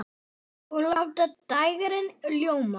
Og láta dægrin ljóma.